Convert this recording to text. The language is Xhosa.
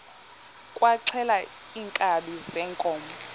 kwaxhelwa iinkabi zeenkomo